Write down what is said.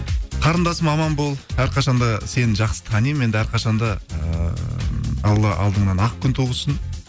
қарындасым аман бол әрқашан да сені жақсы танимын енді әрқашан да ыыы алла алдыңнан ақ күн туғызсын